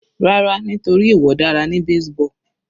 Rárá nítorí ìwọ dára ní baseball.